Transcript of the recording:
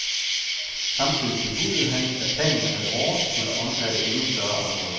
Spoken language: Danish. Samtidig bebudede han, at planen ad åre skulle omfatte endnu større områder.